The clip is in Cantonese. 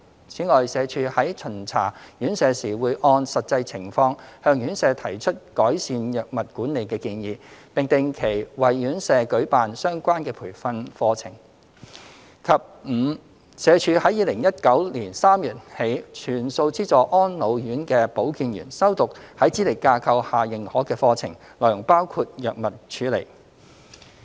此外，社署在巡查院舍時會按實際情況向院舍提出改善藥物管理的建議，並定期為院舍舉辦相關的培訓講座；及 e 社署於2019年3月起全數資助安老院的保健員修讀在資歷架構下認可的課程，內容包括藥物處理。